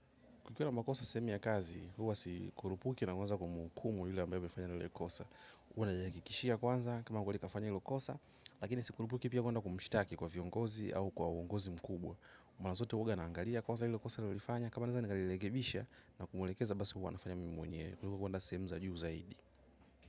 Kukiwa na makosa sehemu ya kazi, huwa si kurupuki na uwanza kumuhukumu yule ambaye amefanya lile kosa. Huwa nayakikishia kwanza kama huwa likafanya hilo kosa, lakini si kumbuki pia kuenda kumushitaki kwa viongozi au kwa uongozi mkubwa. Mala zote uwa naangalia kwanza hilo kosa alilo lifanya, kama naeza ni kalelekebisha na kumulekeza basi huwa nafanya mim mwenyewe. Kuliko kwenda sehemu za juu zaidi.